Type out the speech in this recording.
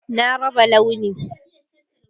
Na raba Launi